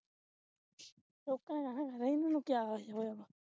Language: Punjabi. ਲੋਕਾਂ ਨੇ ਕਹਿਣਾ ਖਰੇ ਇਨ੍ਹਾਂ ਨੂੰ ਕਿਆ ਹੋਇਆ